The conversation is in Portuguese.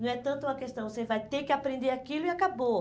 Não é tanto uma questão, você vai ter que aprender aquilo e acabou.